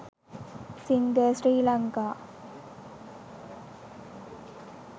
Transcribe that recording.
singer sri lanka